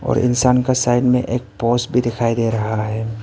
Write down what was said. और इंसान का साइड में एक पोल्स भी दिखाई दे रहा है।